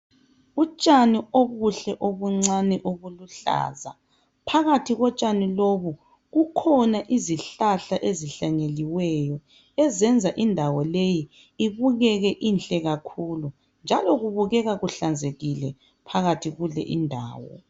Utshani obuhle obuncane obuluhlaza phakathi kotshani lobu kukhona izihlahla ezihlanyeliweyo ezenza indawo leyi ibukeke inhle kakhulu njalo kubukeka kuhlanzekile phakathi kule indawo